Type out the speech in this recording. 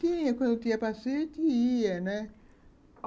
Tinha, quando tinha passeio, a gente ia, né?